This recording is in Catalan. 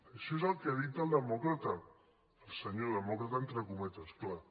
això és el que ha dit el demòcrata el senyor demòcrata entre cometes clar